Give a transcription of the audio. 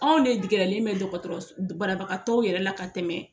Anw de digɛrɛlen bɛ dɔgɔtɔrɔ banabagatɔw yɛrɛ la ka tɛmɛ